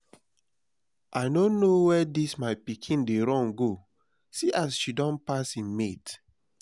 i no know where dis my pikin dey run go see as she don pass im mates